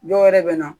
Dɔw wɛrɛ bɛ na